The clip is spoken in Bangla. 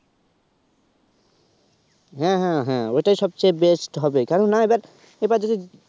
হ্যা হ্যা ওইটাই সবচেয়ে best হবে কারন না এবার যদি